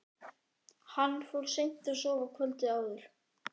Hann fór seint að sofa kvöldið áður.